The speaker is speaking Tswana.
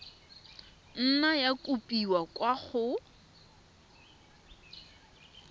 nna ya kopiwa kwa go